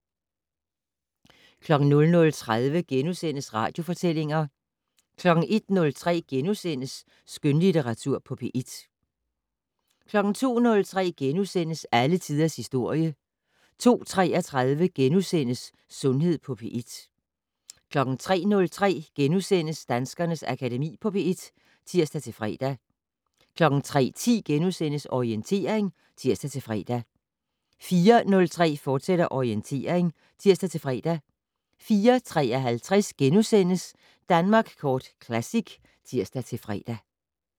00:30: Radiofortællinger * 01:03: Skønlitteratur på P1 * 02:03: Alle tiders historie * 02:33: Sundhed på P1 * 03:03: Danskernes Akademi på P1 *(tir-fre) 03:10: Orientering *(tir-fre) 04:03: Orientering, fortsat (tir-fre) 04:53: Danmark Kort Classic *(tir-fre)